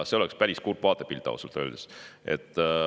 See oleks päris kurb vaatepilt ausalt öeldes.